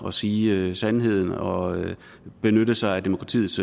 at sige sandheden og benytte sig af demokratiets